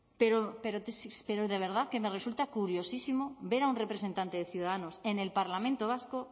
pero de verdad que me resulta curiosísimo ver a un representante de ciudadanos en el parlamento vasco